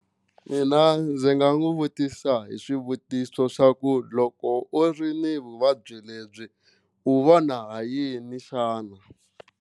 Mina ndzi nga n'wi vutisa hi swivutiso swa ku loko u ri ni vuvabyi lebyi u vona ha yini xana.